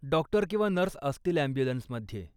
Doctor किंवा nurse असतील ॲम्ब्युलन्समध्ये.